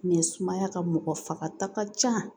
sumaya ka mɔgɔ fagata ka ca